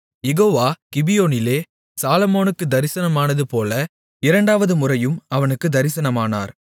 யெகோவா கிபியோனிலே சாலொமோனுக்குத் தரிசனமானதுபோல இரண்டாவது முறையும் அவனுக்குத் தரிசனமானார்